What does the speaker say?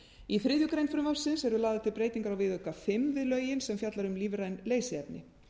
í þriðju greinar frumvarpsins eru lagðar til breytingar á viðauka fimm við lögin sem fjallar um lífræn leysiefni